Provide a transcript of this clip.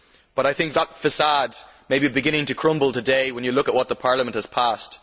But I think that facade may be beginning to crumble today when you look at what the Parliament has passed.